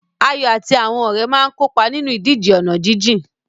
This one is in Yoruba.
Ayo àti àwọn ọ̀rẹ́ máa ń kópa nínú ìdíje ọ̀nà jíjìn.